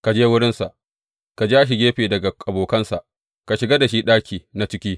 Ka je wurinsa, ka ja shi gefe daga abokansa, ka shiga da shi ɗaki na ciki.